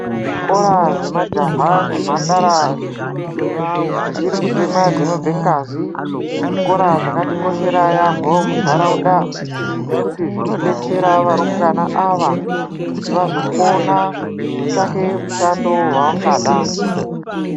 Zvikora zvemajaha nemhandara dzichiri kutemwa dzinobve ngazi zvikora zvakatikoshera yamho munharaunda ngekuti zvinobetsera arumbawana aya kuti vazokona kutsvake mushando wavangada.